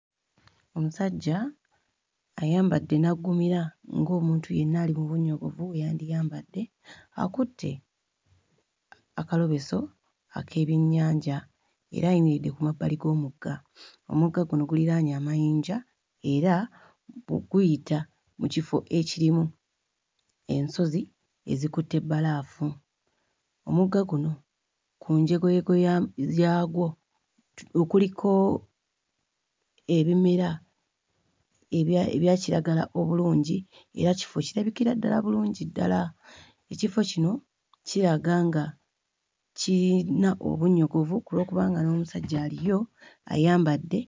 Omusajja ayambadde n'aggumira ng'omuntu yenna ali mu bunnyogovu bwe yandibwambadde, akutte akalobeso ak'ebyennyanja era ayimiridde ku mabbali g'omugga. Omugga guno guliraanye amayinja era bo guyita mu kifo ekirimu ensozi ezikutte bbalaafu. Omugga guno ku njegooyego ya yaagwo tu kuliko ebimera ebya ebya kiragala obulungi era kifo kirabikira ddala bulungi ddala. Ekifo kino kiraga nga kirina obunnyogovu ku lw'okubanga n'omusajja aliyo ayambadde.